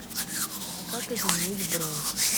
как изменить бронь